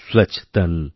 স্বচ্ছ্তন